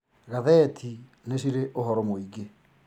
Gatheti nĩ cirĩ ũhoro mũingĩ